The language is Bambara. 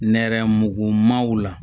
Nɛrɛmugumanw la